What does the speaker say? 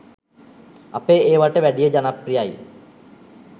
අපේ ඒවට වැඩිය ජනප්‍රියයි.